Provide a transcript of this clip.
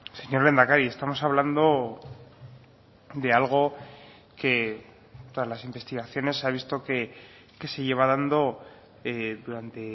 señor lehendakari estamos hablando de algo que todas las investigaciones se ha visto que se lleva dando durante